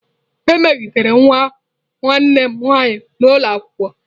E megidere nwa nwanne m nwaanyị n'ụlọ akwụkwọ.